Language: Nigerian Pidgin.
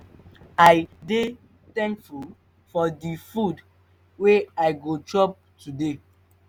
i dey thankful for di food wey i go chop today